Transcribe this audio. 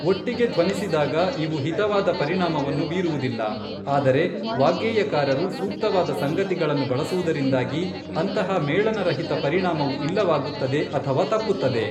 ಒಟ್ಟಿಗೆ ಧ್ವನಿಸಿದಾಗ ಇವು ಹಿತವಾದ ಪರಿಣಾಮವನ್ನು ಬೀರುವುದಿಲ್ಲ, ಆದರೆ ವಾಗ್ಗೇಯಕಾರರು ಸೂಕ್ತವಾದ ಸಂಗತಿಗಳನ್ನು ಬಳಸುವುದರಿಂದಾಗಿ ಅಂತಹ ಮೇಳನರಹಿತ ಪರಿಣಾಮವು ಇಲ್ಲವಾಗುತ್ತದೆ ಅಥವಾ ತಪ್ಪುತ್ತದೆ.